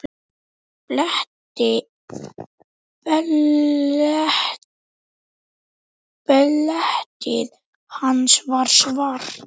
Beltið hans var svart.